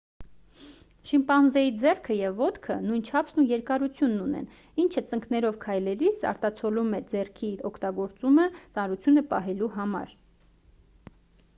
շիմպանզեի ձեռքը և ոտքը նույն չափսն ու երկարությունն ունեն ինչը ծնկներով քայլելիս արտացոլում է ձեռքի օգտագործումը ծանրությունը պահելու համար